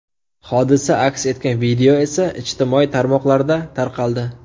Hodisa aks etgan video esa ijtimoiy tarmoqlarda tarqaldi .